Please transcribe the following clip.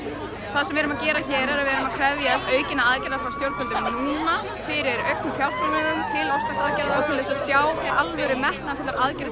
það sem við erum að gera hér er að við erum að krefjast aukinna aðgerða frá stjórnvöldum núna fyrir auknum fjárframlögum til loftslagsaðgerða og til þess að sjá alvöru metnaðarfullar aðgerðir